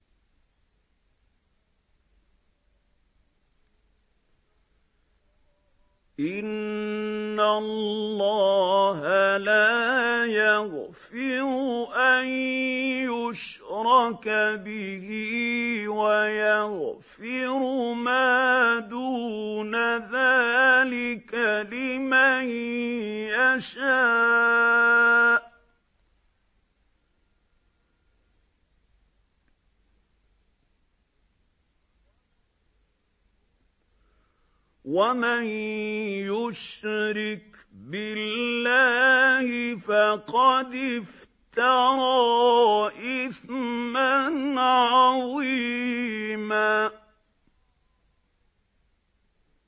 إِنَّ اللَّهَ لَا يَغْفِرُ أَن يُشْرَكَ بِهِ وَيَغْفِرُ مَا دُونَ ذَٰلِكَ لِمَن يَشَاءُ ۚ وَمَن يُشْرِكْ بِاللَّهِ فَقَدِ افْتَرَىٰ إِثْمًا عَظِيمًا